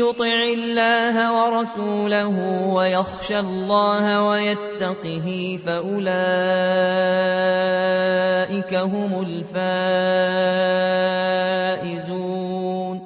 يُطِعِ اللَّهَ وَرَسُولَهُ وَيَخْشَ اللَّهَ وَيَتَّقْهِ فَأُولَٰئِكَ هُمُ الْفَائِزُونَ